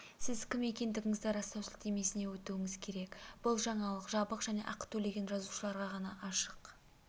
сіз кім екендігіңізді растау сілтемесіне өтуіңіз керек бұл жаңалық жабық және ақы төлеген жазылушыларға ғана ашық